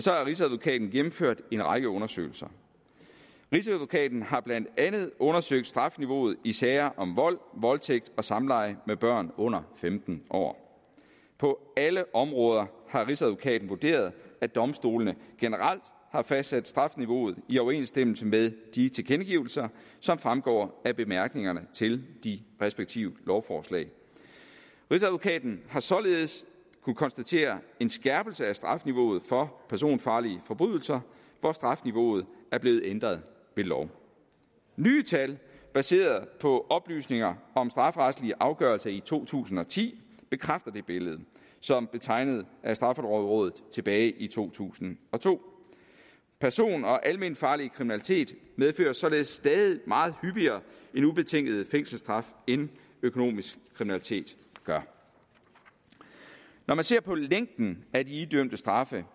har rigsadvokaten gennemført en række undersøgelser rigsadvokaten har blandt andet undersøgt strafniveauet i sager om vold voldtægt og samleje med børn under femten år på alle områder har rigsadvokaten vurderet at domstolene generelt har fastsat strafniveauet i overensstemmelse med de tilkendegivelser som fremgår af bemærkningerne til de respektive lovforslag rigsadvokaten har således kunnet konstatere en skærpelse af strafniveauet for personfarlige forbrydelser hvor strafniveauet er blevet ændret ved lov nye tal baseret på oplysninger om strafferetlige afgørelser i to tusind og ti bekræfter det billede som blev tegnet af straffelovrådet tilbage i to tusind og to person og alment farlig kriminalitet medfører således stadig meget hyppigere en ubetinget fængselsstraf end økonomisk kriminalitet gør når man ser på længden af de idømte straffe